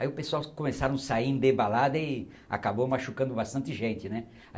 Aí o pessoal começaram a sair em debalada e acabou machucando bastante gente, né?